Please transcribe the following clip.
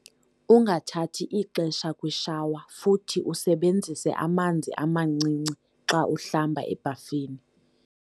Ungathathi ixesha kwishawa futhi usebenzise amanzi amancinci xa uhlamba ebhafini.